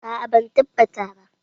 A'a ban tabbata ba.